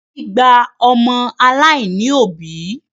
Ẹbí gba ọmọ aláìní òbí